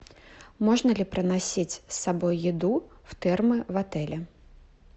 можно ли проносить с собой еду в термо в отеле